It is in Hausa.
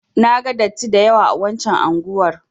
Na ga datti da yawa a waccan unguwar.